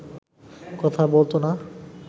কথা বলতো না